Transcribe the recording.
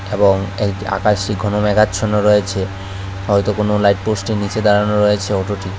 এবং এক আকাশি কোনো মেঘাছন্ন রয়েছে হয়তো কোনো লাইটপোষ্টের নিচে দাঁড়ানো রয়েছে অটোটি।